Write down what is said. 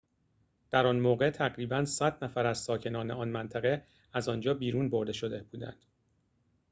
در آن موقع تقریباً ۱۰۰ نفر از ساکنان آن منطقه از آنجا بیرون برده شده بودند